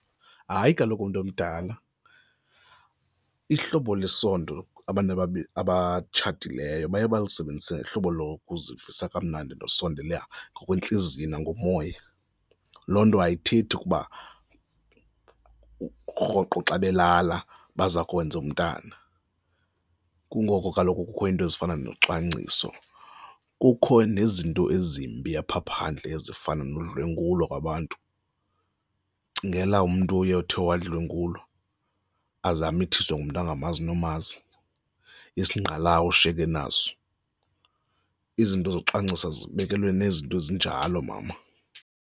Hayi, kaloku mntu omdala, ihlobo lesondo abantu abatshatileyo baye balisebenzise ngohlobo lokuzivisa kamnandi nokusondela ngokwentliziyo nangomoya. Loo nto ayithethi ukuba rhoqo xa belala baza kwenza umntana. Kungoko kaloku kukho iinto ezifana nocwangciso, kukho nezinto ezimbi apha phandle ezifana nodlwengulo kwabantu. Cingela umntu oye othe wadlwengulwa aze amithiswe ngumntu angamazi nomazi isingqalawushe ke naso, izinto zokucwangcisa zibekelwe nezinto ezinjalo, mama.